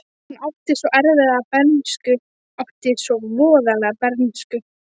Hún átti svo erfiða bernsku, átti svo voðalega bernsku.